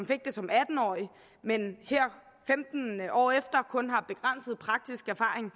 fik det som atten årige men her femten år efter kun har begrænset praktisk erfaring